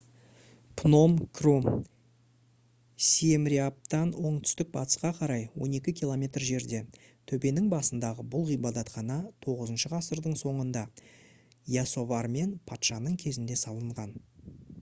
пном-кром сиемреаптан оңтүстік-батысқа қарай 12 км жерде төбенің басындағы бұл ғибадатхана 9 ғасырдың соңында ясоварман патшаның кезінде салынған